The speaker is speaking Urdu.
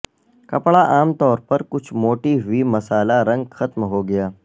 کپڑا عام طور پر کچھ موٹی ہوئی مسالا رنگ ختم ہو گیا